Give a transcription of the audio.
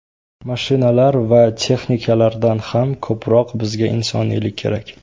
Mashinalar va texnikalardan ham ko‘proq bizga insoniylik kerak.